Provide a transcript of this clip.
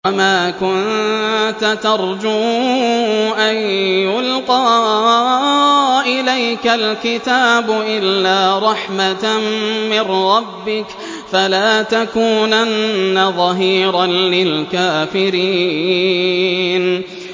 وَمَا كُنتَ تَرْجُو أَن يُلْقَىٰ إِلَيْكَ الْكِتَابُ إِلَّا رَحْمَةً مِّن رَّبِّكَ ۖ فَلَا تَكُونَنَّ ظَهِيرًا لِّلْكَافِرِينَ